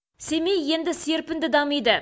семей енді серпінді дамиды